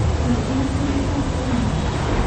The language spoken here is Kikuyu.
Ndeithia kũnyita mwana ũyũ